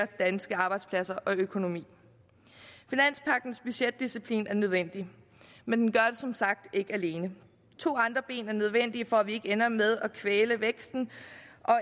danske arbejdspladser og dansk økonomi finanspagtens budgetdisciplin er nødvendig men den gør det som sagt ikke alene to andre ben er nødvendige for at vi ikke ender med at kvæle væksten